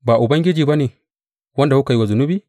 Ba Ubangiji ba ne, wanda kuka yi wa zunubi?